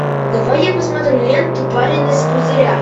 давай я посмотрю ленту парень из пузыря